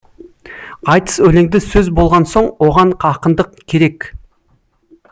айтыс өлеңді сөз болған соң оған ақындық керек